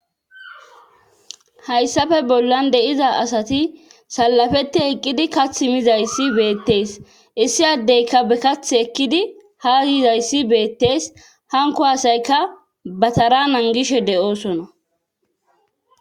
Hayssafe bollan deiza asati salafete eqqidi kath mizayssi beettees issi addeyka bekath ekkidi ha giizayssi beettees hanko hasayka batara nangishe de'oosona.